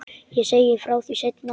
Ég segi frá því seinna.